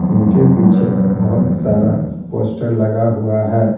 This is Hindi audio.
इनके पीछे बहुत सारा पोस्टर लगा हुआ है।